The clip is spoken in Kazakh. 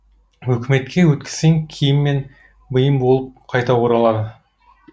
өкіметке өткізсең киім мен бұйым болып қайта оралады